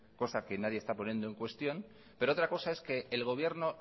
cosa que nadie está poniendo en cuestión pero otra cosa es que el gobierno